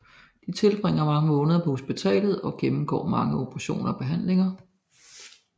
De tilbringer mange måneder på hospitalet og gennemgår mange operationer og behandlinger